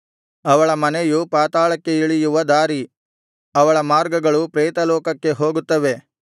ಅವಳ ಮನೆಯು ಪಾತಾಳಕ್ಕೆ ಇಳಿಯುವ ದಾರಿ ಅವಳ ಮಾರ್ಗಗಳು ಪ್ರೇತಲೋಕಕ್ಕೆ ಹೋಗುತ್ತವೆ